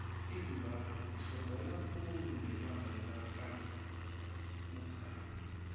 izimbabwe isogola khulu ngebanga lakamugabe